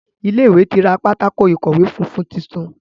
Ilé ìwé ti ra Pátákó ìkọ̀wé funfun títún.